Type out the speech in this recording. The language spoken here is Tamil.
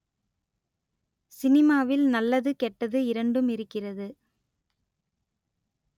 சினிமாவில் நல்லது கெட்டது இரண்டும் இருக்கிறது